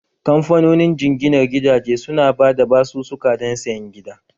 Kamfanonin jinginar gidaje su na ba da basusuka don sayan gida